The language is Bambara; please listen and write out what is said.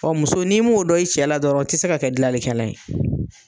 Ɔn muso ni m'o dɔ i cɛ la dɔrɔn i te se ka kɛ gilanlikɛla ye.